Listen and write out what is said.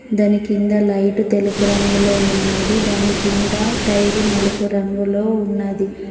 దాని కింద లైట్ తెలుపు రంగులో ఉన్నది దాని కింద టైరు నలుపు రంగులో ఉన్నది.